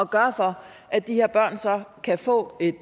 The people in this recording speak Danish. gøre for at de her børn så kan få et